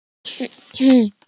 Verkið er mjög vandað.